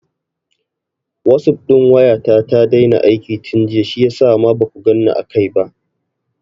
Wasup ɗin waya ta ta daina aiki tun jiya shiyasa ma baku ganni a kai ba.